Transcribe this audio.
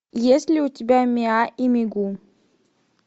есть ли у тебя миа и мигу